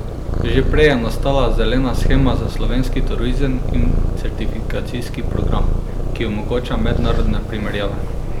Že prej je nastala zelena shema za slovenski turizem in certifikacijski program, ki omogoča mednarodne primerjave.